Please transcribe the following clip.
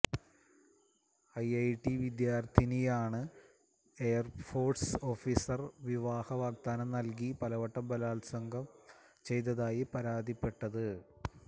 IIT വിദ്യാര്ഥിനിയാണ് air force officer വിവാഹ വാഗ്ദാനം നല്കി പലവട്ടം ബലാത്സംഗം ചെയ്തതായി പരാതിപ്പെട്ടത്